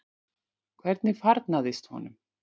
Hvernig farnaðist honum?